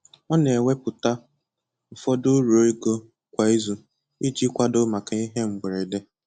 Ọ na ewepụta ụfọdụ uru ego kwa izu iji kwado maka ihe mberede